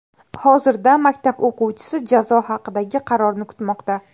Hozirda maktab o‘quvchisi jazo haqidagi qarorni kutmoqda.